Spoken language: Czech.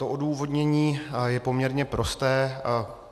To odůvodnění je poměrně prosté.